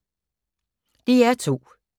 DR2